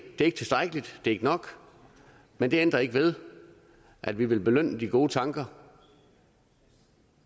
er ikke tilstrækkeligt det er ikke nok men det ændrer ikke ved at vi vil belønne de gode tanker